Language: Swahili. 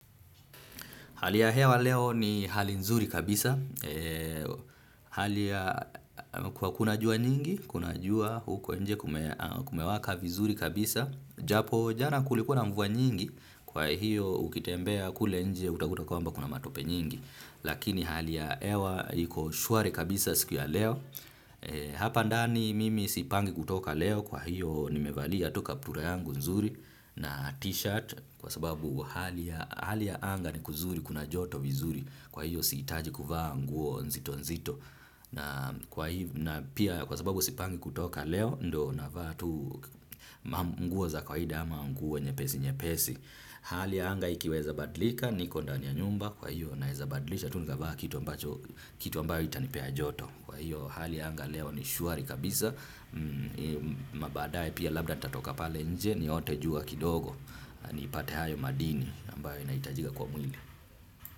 Hali ya hewa leo ni hali nzuri kabisa. Hali ya kwa kuna jua nyingi, kuna jua huko nje kumewaka vizuri kabisa. Japo jana kulikuwa na mvua nyingi, kwa hiyo ukitembea kule nje utakuta kwa mba kuna matope nyingi. Lakini hali ya hewa iko shwari kabisa siku ya leo. Hapa ndani mimi sipangi kutoka leo, kwa hiyo nimevalia tu kaptura yangu nzuri na t-shirt. Kwa sababu hali ya anga ni kuzuri kuna joto vizuri kwa hiyo sihitaji kuvaa nguo nzito nzito na pia kwa sababu sipangi kutoka leo ndo na vaatu nguo za kawaida ama nguo nyepesi nyepesi hali ya anga ikiweza badlika ni kondani ya nyumba kwa hiyo naweza badilisha tunikavaa kitu ambacho kitu ambayo itanipea joto kwa hiyo hali ya anga leo ni shwari kabisa mabaadaye pia labda nitatoka pale nje niote jua kidogo nipate hayo madini ambayo inahitajika kwa mwili.